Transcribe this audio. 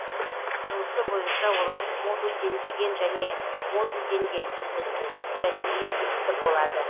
құрылысы бойынша олар модульденбеген және модулденген үздіксіз және импульсті болады